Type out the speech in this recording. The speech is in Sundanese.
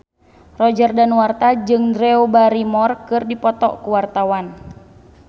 Roger Danuarta jeung Drew Barrymore keur dipoto ku wartawan